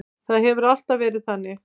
Það hefur alltaf verið þannig.